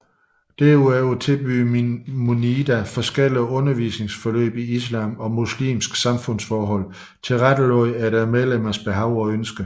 Derudover tilbyder Munida forskellige undervisningsforløb i islam og muslimske samfundsforhold tilrettelagt efter medlemmernes behov og ønsker